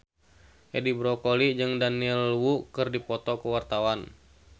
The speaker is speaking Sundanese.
Edi Brokoli jeung Daniel Wu keur dipoto ku wartawan